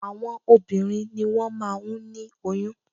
Àwọn obìnrin ni wọ́n máa ń ní oyún